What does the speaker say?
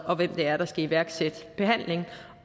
og hvem det er der skal iværksætte behandlingen